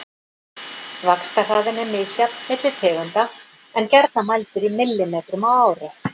Vaxtarhraðinn er misjafn milli tegunda en er gjarnan mældur í millimetrum á ári.